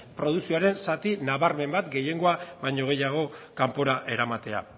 produkzioaren zati nabarmen bat gehiengoa baino gehiago kanpora eramatea